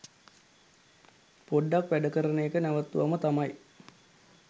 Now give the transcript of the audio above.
පොඩ්ඩක් වැඩ කරන එක නැවත්තුවම තමයි.